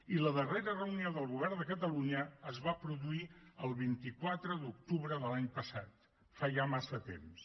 i la darrera reunió del govern de catalunya es va produir el vint quatre d’octubre de l’any passat fa ja massa temps